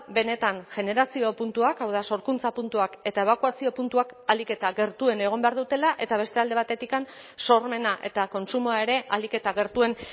benetan generazio puntuak hau da sorkuntza puntuak eta ebakuazio puntuak ahalik eta gertuen egon behar dutela eta beste alde batetik sormena eta kontsumoa ere ahalik eta gertuen